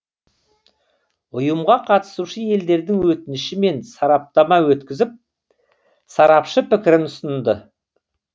ұйымға қатысушы елдердің өтінішімен сараптама өткізіп сарапшы пікірін ұсынды